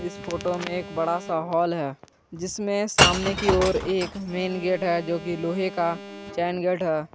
इस फोटो में एक बड़ा सा हॉल है जिसमें सामने की ओर एक मेन गेट हैं जो कि लोहे का चैन गेट है।